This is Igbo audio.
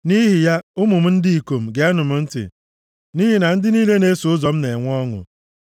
“Nʼihi ya, ụmụ m ndị ikom, geenụ m ntị; nʼihi na ndị niile na-eso ụzọ m na-enwe ọṅụ.